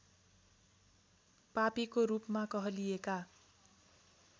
पापीको रूपमा कहलिएका